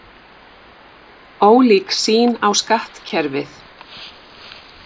Ólík sýn á skattkerfið